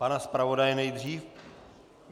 Pan zpravodaj nejdřív.